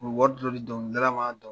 O bi wari dɔ di dɔnkilidala ma, dɔn